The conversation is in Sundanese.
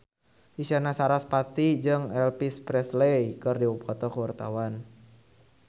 Isyana Sarasvati jeung Elvis Presley keur dipoto ku wartawan